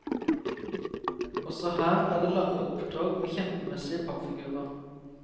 Også her er det lange opptog med kjempemessige pappfigurer.